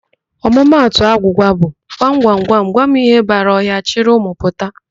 Ọmụmatụ agwụgwa bụ, 'gwam, gwam, gwam ihe bara ọhịa, chịrị ụmụ pụta'.